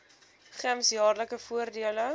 gems jaarlikse voordele